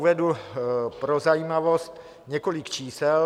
Uvedu pro zajímavost několik čísel.